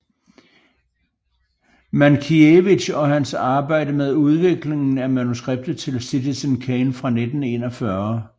Mankiewicz og hans arbejde med udviklingen af manuskriptet til Citizen Kane fra 1941